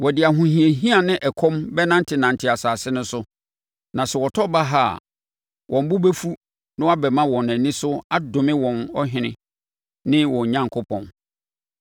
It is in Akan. Wɔde ahohiahia ne ɛkɔm bɛnantenante asase no so; na sɛ wɔtɔ baha a, wɔn bo bɛfu na wɔbɛma wɔn ani so adome wɔn ɔhene ne wɔn Onyankopɔn.